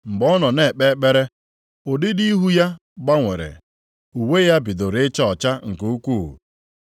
Mgbe ọ nọ na-ekpe ekpere, ụdịdị ihu ya gbanwere. Uwe ya bidoro ịchaa ọcha nke ukwuu.